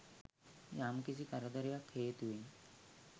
යම්කිසි කරදරයක් හේතුවෙන්